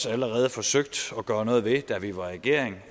allerede også forsøgt at gøre noget ved da vi var i regering